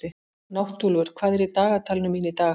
Náttúlfur, hvað er í dagatalinu mínu í dag?